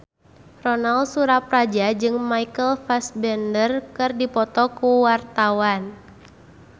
Ronal Surapradja jeung Michael Fassbender keur dipoto ku wartawan